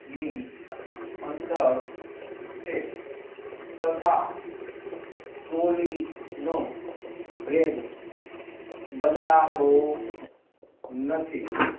ની અંદર છે તથા trolly નો વેગ બદલાતો નથી